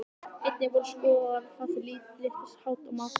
Einnig voru skoðaðar þar lítils háttar matarbirgðir.